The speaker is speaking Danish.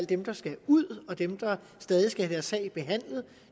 dem der skal ud og dem der stadig skal have deres sag behandlet